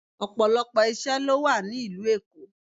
Ọ̀pọ̀lọpọ̀ ìṣe ló wà ní ìlú Èkó.